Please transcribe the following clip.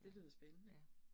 Ja, ja